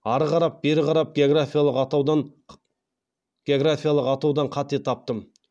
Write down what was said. ары қарап бері қарап географиялық атаудан қате таптым